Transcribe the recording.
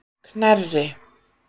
Knerri